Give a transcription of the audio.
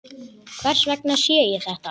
Hvers vegna sé ég þetta?